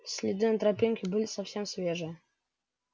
следы на тропинке были совсем свежие